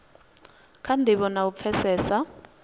kha ndivho na u pfesesa